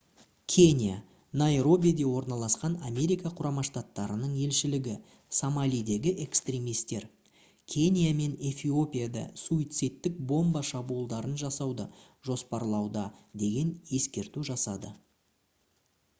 кения найробиде орналасқан америка құрама штаттарының елшілігі «сомалидегі экстремистер» кения мен эфиопияда суицидтік бомба шабуылдарын жасауды жоспарлауда деген ескерту жасады